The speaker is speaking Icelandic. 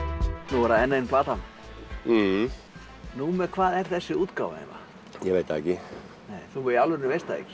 nú er það enn ein platan númer hvað er þessi útgáfa ég veit það ekki þú í alvörunni veist það ekki